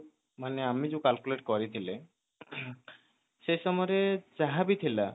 ମାନେ ଅଆମେ ଯୋଉ calculate କରିଥିଲେ ସେ ସମୟ ରେ ଯାହାବଥିଲା